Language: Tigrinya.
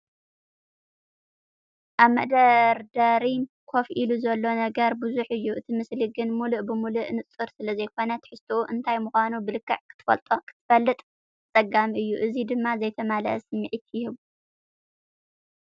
ኣብ መደርደሪ ኮፍ ኢሉ ዘሎ ነገር ብዙሕ እዩ፡ እቲ ምስሊ ግን ምሉእ ብምሉእ ንጹር ስለዘይኮነ፡ ትሕዝቶኡ እንታይ ምዃኑ ብልክዕ ክትፈልጥ ኣጸጋሚ እዩ። እዚ ድማ ዘይተማልአ ስምዒት ይህቦ።